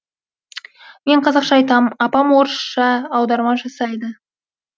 мен қазақша айтам апам орысша аударма жасайды